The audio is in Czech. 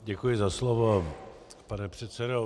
Děkuji za slovo, pane předsedo.